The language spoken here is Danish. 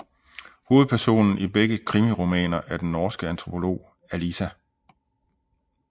Hovedpersonen i begge krimiromaner er den norske antropolog Alisa